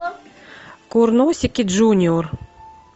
курносики джуниор